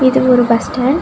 இது ஒரு bus stand .